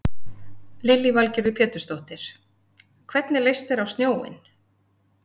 Lillý Valgerður Pétursdóttir: Hvernig leist þér á snjóinn?